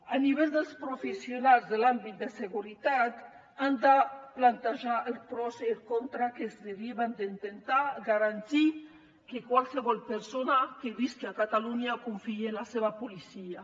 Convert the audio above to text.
a nivell dels professionals de l’àmbit de seguretat han de plantejar els pros i els contres que es deriven d’intentar garantir que qualsevol persona que visqui a catalunya confiï en la seva policia